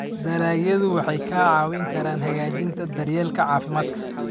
Dalagyadu waxay kaa caawin karaan hagaajinta daryeelka caafimaadka.